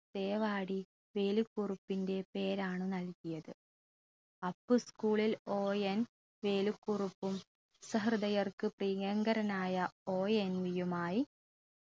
തേവാടി വേലുക്കുറുപ്പിൻറെ പേരാണു നൽകിയത് അപ്പു school ൽ ON വേലുക്കുറുപ്പും സഹൃദയർക്ക് പ്രിയങ്കരനായ ONV യുമായി